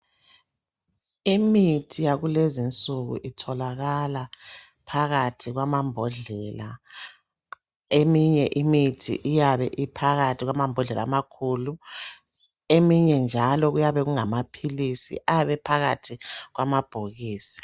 Imithi yakulezi nsuku itholakala phakathi kwamambodlela eminye imithi iyabe iphakathi kwamambodlela amakhulu eminye njalo kuyabe kungamaphilisi ayabe phakathi kwamabhokisi.